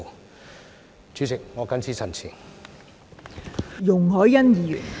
代理主席，我謹此陳辭。